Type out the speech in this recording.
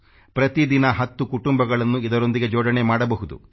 ಪ್ರತಿ ದಿನ 10 ಕುಟುಂಬಗಳನ್ನು ಇದರೊಂದಿಗೆ ಜೋಡಣೆ ಮಾಡಬಹುದು